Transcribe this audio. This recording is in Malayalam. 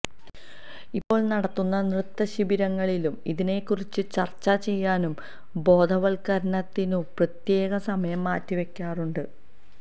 ഇപ്പോൾ നടത്തുന്ന നൃത്ത ശിബിരങ്ങളിലും ഇതിനെക്കുറിച്ച് ചർച്ച ചെയ്യാനും ബോധവത്കരണത്തിനും പ്രത്യേകം സമയം മാറ്റി വെക്കാറുണ്ട്